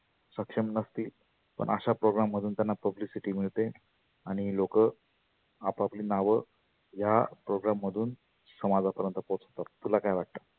सक्षम नसती पण अशा program मधुन त्यांना publicity मिळते आणि लोक आपाअपली नाव या program madhun समाजा पर्यंत पोहचवतात. तुला काय वाटतं?